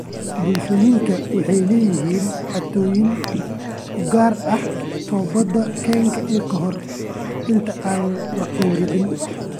Bulshooyinka waxay leeyihiin caadooyin u gaar ah oo towbad keenka ka hor inta aan la gowracin.